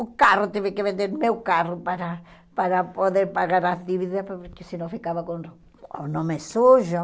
O carro, tive que vender meu carro para para poder pagar as dívidas, porque senão ficava com com o nome sujo.